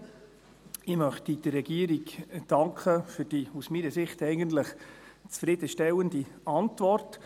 Ich möchte der Regierung danken für die aus meiner Sicht eigentlich zufriedenstellende Antwort.